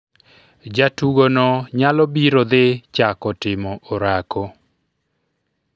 jatugo no nyalo biro dhi chako timo orako